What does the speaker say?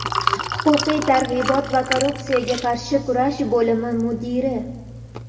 huquqiy targ‘ibot va korrupsiyaga qarshi kurash bo‘limi mudiri;.